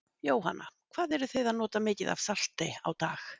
Jóhanna: Hvað eruð þið að nota mikið af salti á dag?